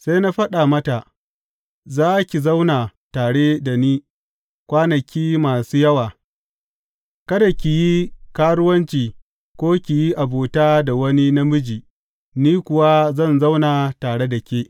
Sai na faɗa mata, Za ki zauna tare da ni kwanaki masu yawa; kada ki yi karuwanci ko ki yi abuta da wani namiji, ni kuwa zan zauna tare da ke.